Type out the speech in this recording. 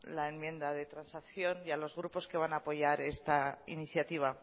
la enmienda de transacción y a los grupos que van apoyar esta iniciativa